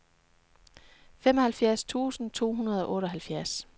femoghalvfems tusind to hundrede og otteoghalvfjerds